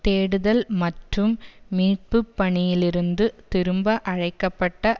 தேடுதல் மற்றும் மீட்புப்பணியிலிருந்து திரும்ப அழைக்க பட்ட